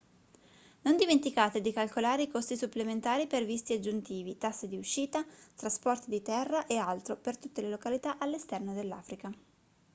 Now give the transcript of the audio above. non dimenticate di calcolare i costi supplementari per visti aggiuntivi tasse di uscita trasporti di terra e altro per tutte le località all'esterno dell'africa